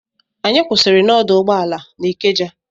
Anyị kwụsịrị n'ọdụ ụgbọala n'Ikeja.